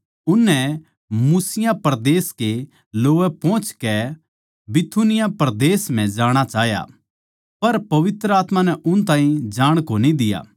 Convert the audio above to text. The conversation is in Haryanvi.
उननै मूसिया परदेस कै लोवै पोहचकै बिथुनिया परदेस म्ह जाणा चाह्या पर पवित्र आत्मा नै उन ताहीं जाण कोनी दिया